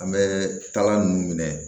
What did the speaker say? An bɛ taa ninnu minɛ